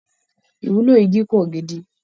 Ìwúlò igi pò gidi